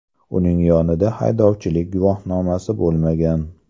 Uning yonida haydovchilik guvohnomasi bo‘lmagan.